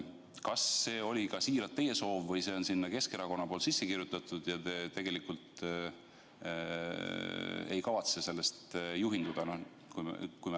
Kas see oli siiralt teie soov või on Keskerakond selle sinna sisse kirjutanud ja teie tegelikult ei kavatse sellest juhinduda?